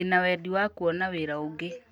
Ndĩna wendi wa kũona wĩra ũngĩ